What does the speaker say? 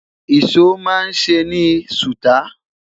ìsọ má n se ni suta